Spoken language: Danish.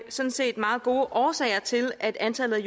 sådan set meget gode årsager til at antallet